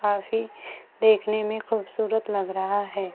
काफी देखने में खूबसूरत लग रहा है।